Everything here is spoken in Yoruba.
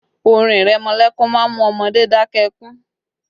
Orin ìrẹmọlẹ́kún má ń mú ọmọdé dakẹ́ ẹkún